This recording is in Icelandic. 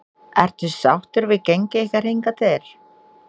Ertu sáttur við gengi ykkar hingað til?